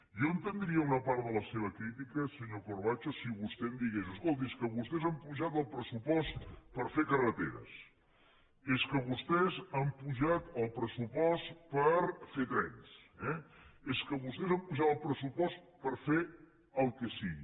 jo entendria una part de la seva crítica senyor corbacho si vostè em digués escolti és que vostès han apujat el pressupost per fer carreteres és que vostès han apujat el pressupost per fer trens és que vostès han apujat el pressupost per fer el que sigui